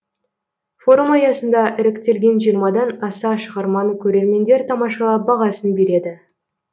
форум аясында іріктелген жиырмадан аса шығарманы көрермендер тамашалап бағасын береді